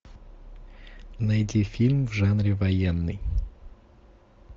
найди фильм в жанре военный